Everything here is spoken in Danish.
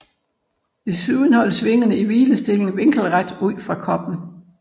Desuden holdes vingerne i hvilestilling vinkelret ud fra kroppen